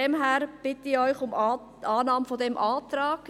Deshalb bitte ich Sie um Annahme dieses Antrags.